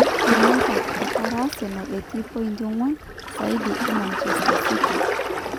United, etara Asenal etii mpointi onguan siadi e Manchester City.